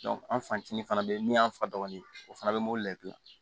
an fantinin fana bɛ yen min y'an fa dɔgɔnin ye o fana bɛ mobili la i bɛ gilan